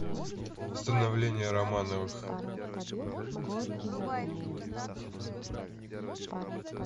становление романовых